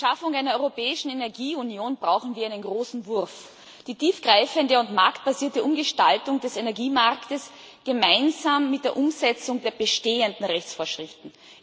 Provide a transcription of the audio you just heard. Zur Schaffung einer europäischen Energieunion brauchen wir einen großen Wurf die tiefgreifende und marktbasierte Umgestaltung des Energiemarktes gemeinsam mit der Umsetzung der bestehenden Rechtsvorschriften.